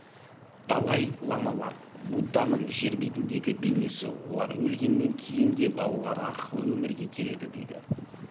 далай-ламалар будданың жер бетіндегі бейнесі олар өлгеннен кейін де балалары арқылы өмірге келеді дейді